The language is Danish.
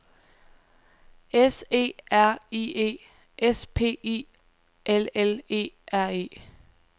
S E R I E S P I L L E R E